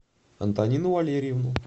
антонину валерьевну